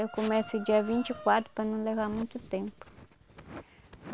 Eu começo dia vinte e quatro para não levar muito tempo.